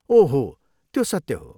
ओह हो, त्यो सत्य हो।